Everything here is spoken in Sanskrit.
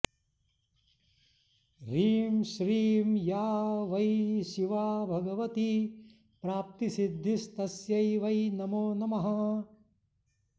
ह्रीं श्रीं या वै शिवा भगवती प्राप्तिसिद्धिस्तस्यै वै नमो नमः